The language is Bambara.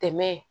Tɛmɛ